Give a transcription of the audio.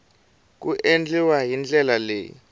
ku endliwa hi ndlela leyi